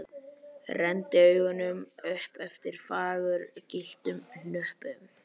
Renndi augunum upp eftir fagurgylltum hnöppum.